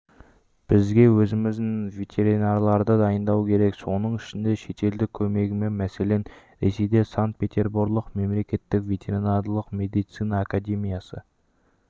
бізге өзіміздің ветеринарларды дайындау керек соның ішінде шетелдік көмегімен мәселен ресейде санкт-петерборлық мемлекеттік ветеринарлық медицина академиясы